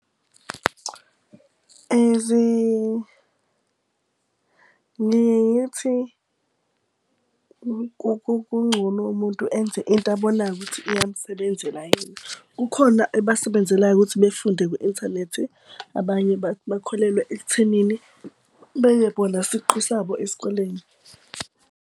Ngike ngithi kungcono umuntu enze into abonayo ukuthi yamsebenzela yena, kukhona ebasebenzelayo ukuthi befunde kwi-inthanethi, abanye bakholelwe ekuthenini beye bona siqu sabo esikoleni.